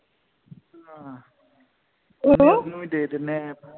ਆਹੋ ਕੋਈ ਨਹੀਂ ਓਹਨੂੰ ਵੀ ਦੇ ਦੀਨੇ ਐੱਪ